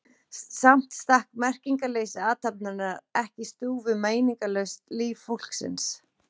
Samt stakk merkingarleysi athafnarinnar ekki í stúf við meiningarlaust líf fólksins.